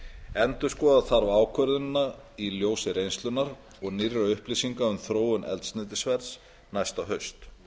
endurskoða þarf ákvörðunina í ljósi reynslunnar og nýrra upplýsinga um þróun eldsneytisverðs næsta haust